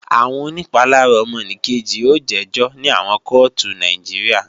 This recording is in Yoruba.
Àwọn onìpalára ọmọnìkejì ó jẹ́jọ́ ní àwọn kóòtù Nàìjíríà